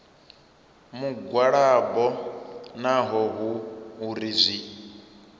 mugwalabo naho hu uri zwi